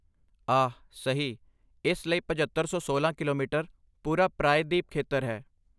ਆਹ ਸਹੀ! ਇਸ ਲਈ ਪਝੱਤਰ ਸੌ ਸੋਲਾਂ ਕਿਲੋਮੀਟਰ ਪੂਰਾ ਪ੍ਰਾਇਦੀਪ ਖੇਤਰ ਹੈ